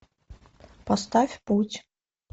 поставь путь